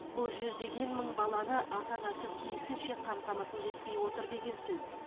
бұл жүздеген мың баланы ата анасы тиісінше қамтамасыз етпей отыр деген сөз